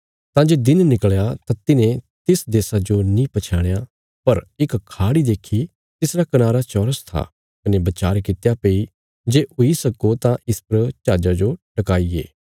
तां जे दिन निकल़या तां तिन्हें तिस देशा जो नीं पछयाणया पर इक खाड़ी देखी तिसरा कनारा चौरस था कने बचार कित्या भई जे हुई सक्को तां इस पर जहाजा जो टकाईये